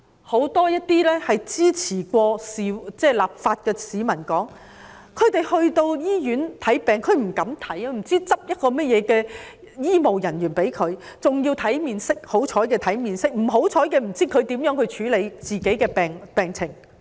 很多曾經支持有關立法的市民表示，他們不敢到醫院看病，因為不知道會由怎樣的醫務人員診治，可能要看醫務人員的面色，也擔心他們以何方法處理自己的病情。